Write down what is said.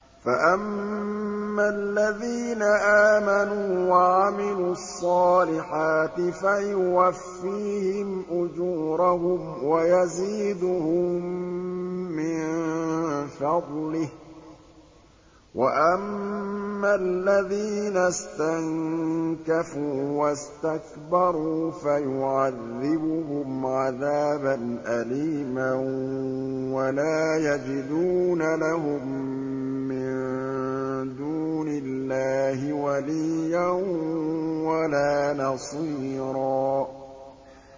فَأَمَّا الَّذِينَ آمَنُوا وَعَمِلُوا الصَّالِحَاتِ فَيُوَفِّيهِمْ أُجُورَهُمْ وَيَزِيدُهُم مِّن فَضْلِهِ ۖ وَأَمَّا الَّذِينَ اسْتَنكَفُوا وَاسْتَكْبَرُوا فَيُعَذِّبُهُمْ عَذَابًا أَلِيمًا وَلَا يَجِدُونَ لَهُم مِّن دُونِ اللَّهِ وَلِيًّا وَلَا نَصِيرًا